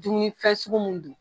Dumuni fɛn sugu mun dun